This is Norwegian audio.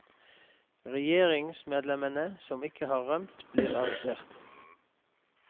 Regjeringsmedlemmene som ikke har rømt, blir arrestert.